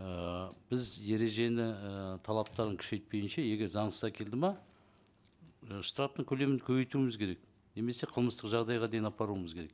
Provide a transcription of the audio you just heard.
ыыы біз ережені ііі талаптарын күшейтпегенше егер заңсыз әкелді ме і штрафтың көлемін көбейтуіміз керек немесе қылмыстық жағдайға дейін апаруымыз керек